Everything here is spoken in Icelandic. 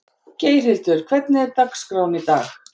Geirhildur, hvernig er dagskráin í dag?